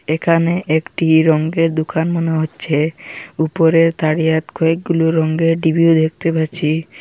এখানে একটি রঙ্গের দুকান মনে হচ্ছে উপরে তাড়িয়াত কয়েকগুলি রঙ্গের ডিবিও দেখতে পাচ্ছি।